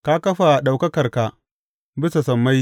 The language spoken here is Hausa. Ka kafa ɗaukakarka bisa sammai.